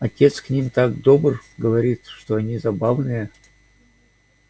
отец к ним так добр говорит что они забавные